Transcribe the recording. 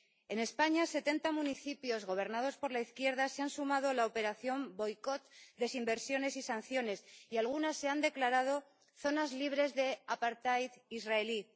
En España, setenta municipios gobernados por la izquierda se han sumado a la operación Boicot, Desinversiones y Sanciones, y algunas se han declarado zonas libres de israelí.